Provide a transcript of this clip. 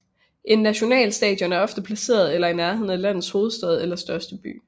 Et nationalstadion er ofte placeret i eller i nærheden af landets hovedstad eller største by